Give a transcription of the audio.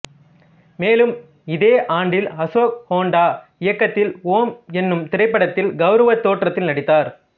மேலும் இதே ஆண்டில் அசோக் ஹோன்டா இயக்கத்தில் ஓம் எனும் திரைப்படத்தில் கௌரவத் தோற்றத்தில் நடித்தார்